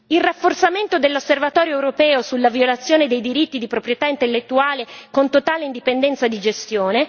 il rafforzamento dell'osservatorio europeo sulla violazione dei diritti di proprietà intellettuale con totale indipendenza di gestione